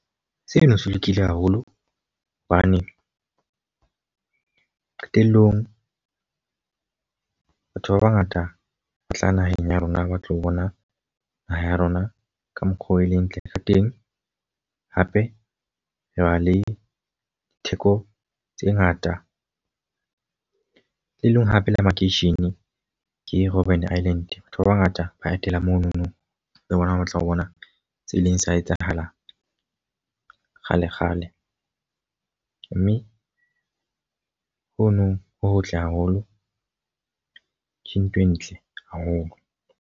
Seno se lokile haholo hobane qetellong batho ba bangata ba tla naheng ya rona ba tlo bona naha ya rona ka mokgwa oo e leng ntle ka teng. Hape re na le theko tse ngata, le leng hape le makeishene ke Robben Island. Batho ba bangata ba etela monono le bona ba batla ho bona tse e leng sa etsahalang kgale kgale. Mme ho nong ho hotle haholo, ke ntho e ntle haholo.